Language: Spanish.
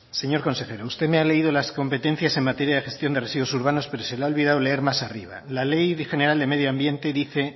señor consejero usted me ha leído las competencias en materia de gestión de residuos urbanos pero se le ha olvidado leer más arriba laley de general de medio ambiente dice